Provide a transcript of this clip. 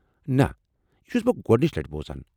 نہ ، یہ چھٗس بہٕ گوٚڈنچہ لٹہِ بوزان۔